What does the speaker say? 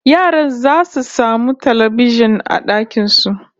Yaran zasu samu talbijin a dakin su